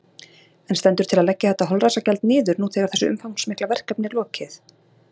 En stendur til að leggja þetta holræsagjald niður nú þegar þessu umfangsmikla verkefni er lokið?